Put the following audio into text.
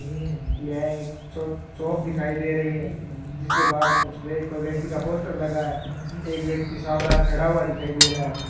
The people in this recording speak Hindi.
यह एक शाप शॉप दिखाई दे रही है जिसके बाहर कुछ व्यक्ति का पोस्टर लगा है एक व्यक्ति सावधान खड़ा हुआ दिखाई दे रहा है।